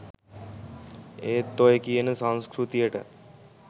ඒත් ඔය කියන සංස්කෘතියට